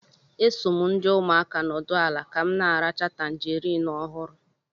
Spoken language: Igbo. E so m ndi umuaka nọdụ ala ka m na-aracha tangarin ọhụrụ